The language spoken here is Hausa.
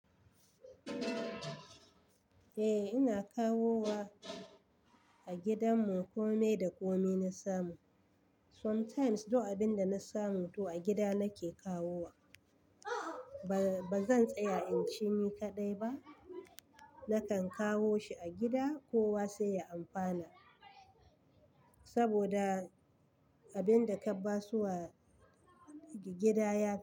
Eh, ina kawo wa, a gidanmu kome da kome na samu. Sometimes duk abin da na samu, to a gida nake kawo wa. Ba zan tsaya in ci ni kaɗai ba, Nakan kawo shi a gida kowa sai ya amfana. Saboda, abin da ka ba suwa gida ya.